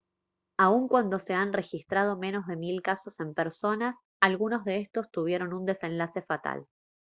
aun cuando se han registrado menos de mil casos en personas algunos de estos tuvieron un desenlace fatal